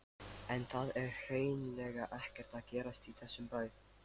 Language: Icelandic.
En það er hreinlega ekkert að gerast í þessum bæ.